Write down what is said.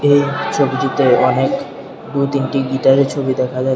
এই ছবিটিতে অনেক দুতিনটি গিটারের ছবি দেখা যা--